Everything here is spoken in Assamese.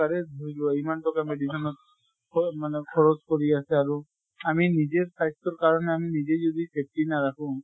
তাৰে ধৰি লোৱা ইমান টকা medicine ত খ মানে খৰচ কৰি আছে । আৰু আমি নিজে স্বাস্থ্য়ৰ কাৰণে আমি নিজে যদি safety নাৰাখো